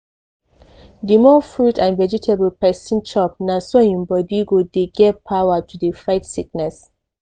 di more fruit and vegetable persin chop na so hin body go dey get power to dey fight sickness.